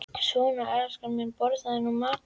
Svona, elskan mín, borðaðu nú matinn þinn.